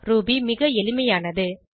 Ruby மிகவும் எளிமையானது